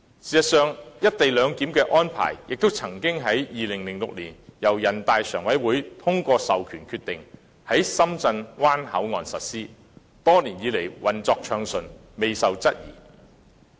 事實上，"一地兩檢"的安排亦曾於2006年由人大常委會通過授權決定，在深圳灣口岸實施，多年來運作暢順，未受質疑。